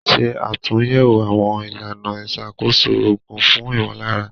Ṣe àtúnyẹ̀wò àwọn ìlànà ìṣàkóso òògùn fún ìmọ̀lára.